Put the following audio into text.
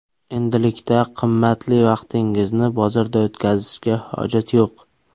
Endilikda qimmatli vaqtingizni bozorda o‘tkazishga hojat yo‘q.